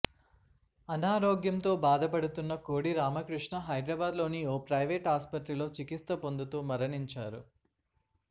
అనారోగ్యంతో భాదపడుతున్న కోడి రామకృష్ణ హైదరాబాద్ లోని ఓ ప్రైవేట్ ఆసుపత్రిలో చికిత్స పొందుతూ మరణించారు